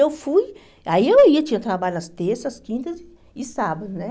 Eu fui, aí eu ia, tinha trabalho às terças, quintas e sábados, né?